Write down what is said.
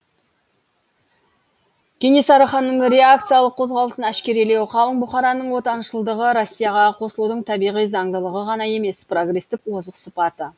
кенесары ханның реакциялық қозғалысын әшкерелеу қалың бұқараның отаншылдығы россияға қосылудың табиғи заңдылығы ғана емес прогрестік озық сыпаты